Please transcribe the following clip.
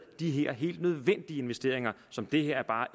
de her helt nødvendige investeringer som det her bare